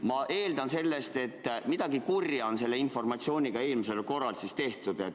Ma eeldan sellest, et midagi kurja on selle informatsiooniga tehtud.